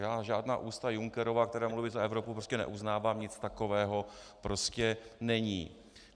Já žádná ústa Junckerova, která mluví za Evropu, prostě neuznávám, nic takového prostě není.